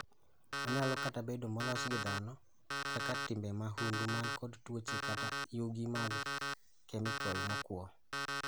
Onyalo kata bedo molos gi dhano, kaka timbe mahundu man kod tuoche kata yugi mag kemikol mokuo.